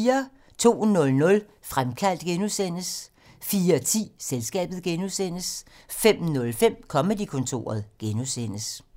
02:00: Fremkaldt (G) 04:10: Selskabet (G) 05:05: Comedy-kontoret (G)